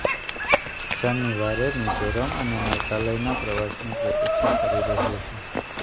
શનિવારે મિઝોરમ અને મેઘાલયના પ્રવાસની પ્રતિક્ષા કરી રહ્યો છું